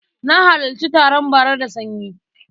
Na halarci taron bara da sanyi.